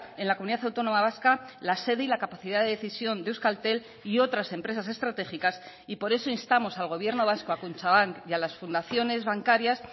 en la comunidad autónoma vasca la sede y la capacidad de decisión de euskaltel y otras empresas estratégicas y por eso instamos al gobierno vasco a kutxabank y a las fundaciones bancarias